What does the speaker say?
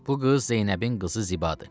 Bu qız Zeynəbin qızı Zibadır.